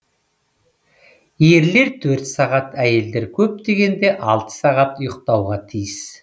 ерлер төрт сағат әйелдер көп дегенде алты сағат ұйықтауға тиіс